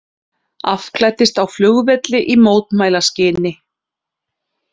Afklæddist á flugvelli í mótmælaskyni